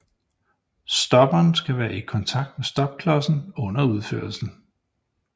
Stopperen skal være i kontakt med stopklodsen under udførelsen